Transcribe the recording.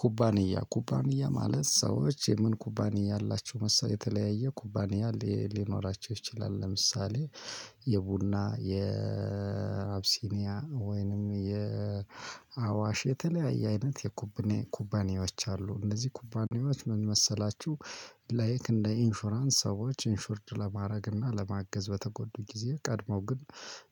ኩባንያ ኩባንያ ማለት ሰዎች የምን ኩባንያ አላቸው መሰለህ የተለያየ ኩባንያ ሊኖራቸው ይችላል ለምሳሌ የቡና የአቢሲኒያ ወይንም የአዋሽ የተለያየ አይነት የኩባንያ ኩባንያዎች አሉ እንደዚህ ኩባንያዎች ምን መሰላችሁ ላይክ እንደ ኢንሹራንስ ሰዎች ኢንሹርድ ለማድረግ እና ለማገዝ በተጎዱ ጊዜ ቀድመው ግን